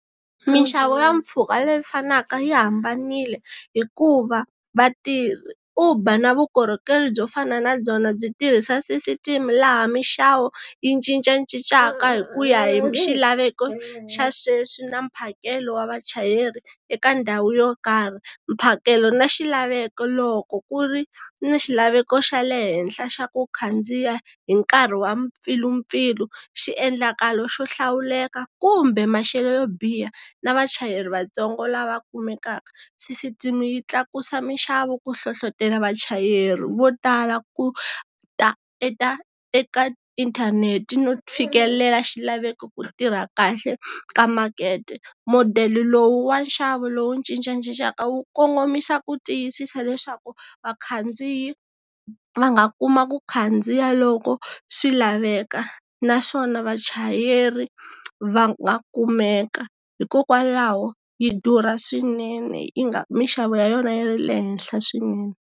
Minxavo ya mpfhuka leyi fanaka yi hambanile, hikuva, va Uber na vukorhokeri byo fana na byona byi tirhisa system laha minxavo, yi cincacincaka hi kuya hi xilaveko xa sweswi na mphakelo wa vachayeri, eka ndhawu yo karhi. Mphakelo na xilaveko loko ku ri na xilaveko xa le henhla xa ku khandziya, hi nkarhi wa mpfilumpfilu, xiendlakalo xo hlawuleka kumbe maxelo yo biha, na vachayeri vatsongo lava kumekaka, system yi tlakusa minxavo ku hlohlotelo vachayeri vo tala ku, ta eka inthanete no fikelela xilaveko ku tirha kahle ka makete. Madele lowu wa nxavo lowu cincacincaka wu kongomisa ku tiyisisa leswaku vakhandziyi va nga kuma ku khandziya loko swi laveka naswona vachayeri, va nga kumeka. Hikokwalaho, yi durha swinene yi nga minxavo ya yona yi ri le henhla swinene.